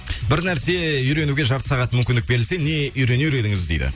бір нәрсе үйренуге жарты сағат мүмкіндік берілсе не үйренер едіңіз дейді